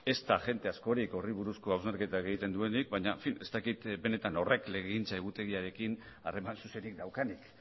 ez da jende askorik horri buruzko hausnarketak egiten duenik baina en fin ez dakit benetan horrek legegintza egutegiarekin harreman zuzenik daukanik